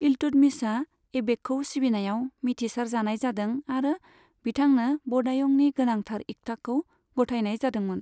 इल्तुतमिशआ ऐबकखौ सिबिनायाव मिथिसार जानाय जादों, आरो बिथांनो बदायुंनि गोनांथार इक्ताखौ गथायनाय जादोंमोन।